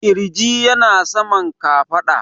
ƙirji yana saman kafaɗa